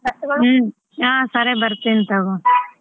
ಹ್ಮ್ ಹಾ ಸರಿ ಬರ್ತೀನಿ ತಗೋ.